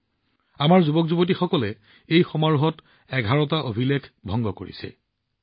এই খেলসমূহত আমাৰ যুৱকযুৱতীসকলে এঘাৰটা অভিলেখ ভংগ কৰিছে